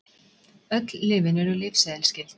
Öll lyfin eru lyfseðilsskyld